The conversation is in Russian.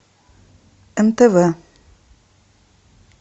нтв